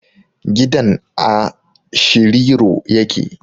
Gidan a Shiriro ya ke